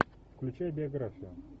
включай биографию